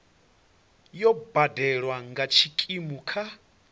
yo badelwa nga tshikimu kha